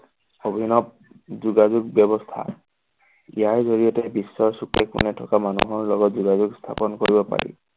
অভিনৱ যোগাযোগ ব্যৱস্থা ইয়াৰ জৰিয়তে বিশ্বৰ চুকে কোণে থকা মানুহৰ লগত যোগাযোগ স্থাপন কৰিব পাৰি।